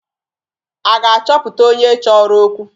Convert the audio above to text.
A ga-achọpụta onye chọrọ okwu?